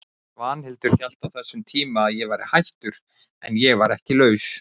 Svanhildur hélt á þessum tíma að ég væri hættur, en ég var ekki laus.